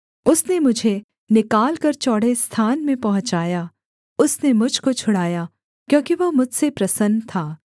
उसने मुझे निकालकर चौड़े स्थान में पहुँचाया उसने मुझ को छुड़ाया क्योंकि वह मुझसे प्रसन्न था